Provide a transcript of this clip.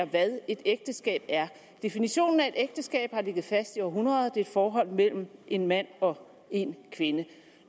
hvad et ægteskab er definitionen af et ægteskab har ligget fast i århundreder det er et forhold mellem en mand og en kvinde